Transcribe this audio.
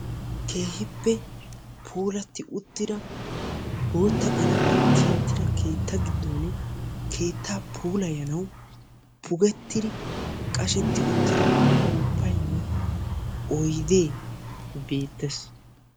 Keehippe puulati uttida boottaa qallammiyan tiyettida keettaa giddon keettaa puulayanawu pugettidi qashetti uttida upuppaynne oydee beettees.